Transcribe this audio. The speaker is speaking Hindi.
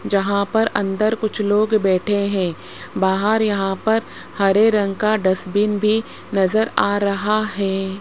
जहां पर अंदर कुछ लोग बैठे हैं बाहर यहां पर हरे रंग का डस्टबिन भी नजर आ रहा है।